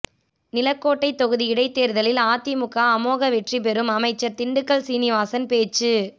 நிலக்கோட்டை தொகுதி இடைத்தேர்தலில் அதிமுக அமோக வெற்றி பெறும் அமைச்சர் திண்டுக்கல் சீனிவாசன் பேச்சு